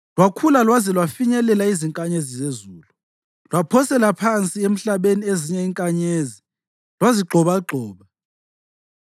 Lwakhula lwaze lwafinyelela izinkanyezi zezulu, lwaphosela phansi emhlabeni ezinye izinkanyezi lwazigxobagxoba.